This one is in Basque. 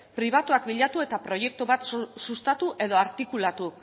pribatuak bilatu eta proiektu bat sustatu edo artikulatu